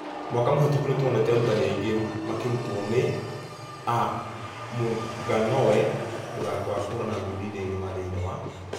Mwaka mũhĩtũku nĩtwonete arutani aingĩ makerutwo nĩ ...a mũnganonwa mũthako wa kũhũrana ngundi thĩ ngima thĩinĩ wa .....